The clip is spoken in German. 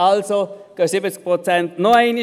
Also gehen 70 Prozent noch einmal nicht.